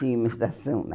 Tinha uma estação lá.